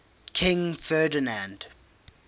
king ferdinand